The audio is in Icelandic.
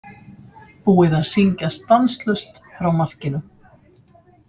Búið að syngja stanslaust frá markinu.